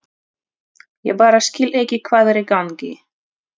Ég bara skil ekki hvað er í gangi.